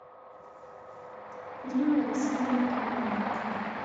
риммой васильевной тумановой